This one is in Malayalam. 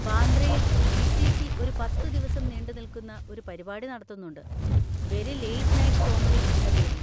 ബാന്ദ്രയിൽ ടി. സി. സി ഒരു പത്തുദിവസം നീണ്ടുനിൽക്കുന്ന ഒരു പരിപാടി നടത്തുന്നുണ്ട്, 'വെരി ലേറ്റ് നൈറ്റ് കോമഡി' എന്ന പേരിൽ.